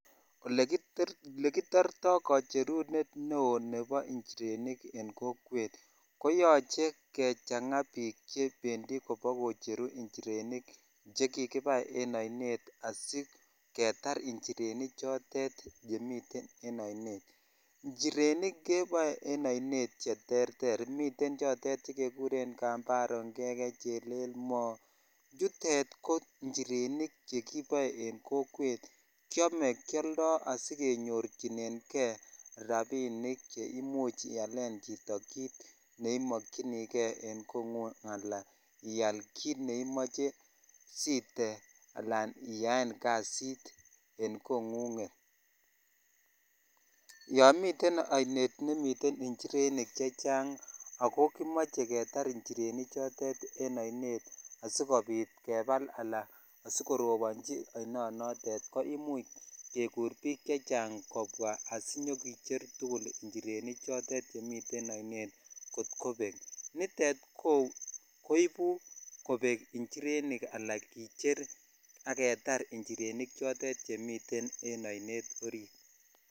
Olekitorto kocherunet neoo nebo nchirenik en kokwet ko yoche kechang'a biik chebendi kobokocheru njirenik chekikibai en oinet asiketar nchireni chotet chemiten en oinet, njirenik keboe en oinet cheterter, miten chekekuren kambaro, ngeke, chelelmo, chutet ko njirenik chekiboe en kokwet, kiome, kioldo asi kenyorchineng'e rabinik cheimuch ialen chito kiit neimokyinike en kong'ung alaan iaal kiit neimoche siite alaan iyaen kasit en kong'unget, yoon miten oinet nemiten njirenik chechang ak ko kimoche ketar njireni chotet en oinet asikobit kebal alaan asikorobonji ainonotet koimuch kekur biik chechang kobwa asinyokicher tukul njireni chotet chemiten oinet kot kobek, nitet koibu kobek njirenik alaa kicher ak ketar njireni chotet chemiten en oinet oriit.